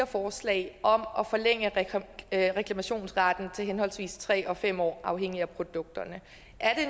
forslag om at forlænge reklamationsretten til henholdsvis tre og fem år afhængig af produkt